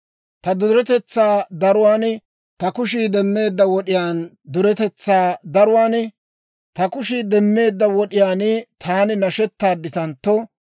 Ta duretetsaa daruwaan, ta kushii demmeedda wod'iyaan taani nashetaadditantto,